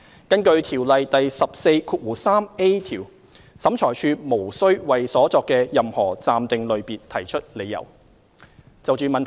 根據《條例》第 143a 條，審裁處無須為所作的任何暫定類別提出理由。